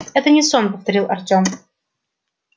это не сон повторил артём